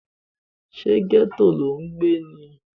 ṣé gẹ́tò lò ń gbé?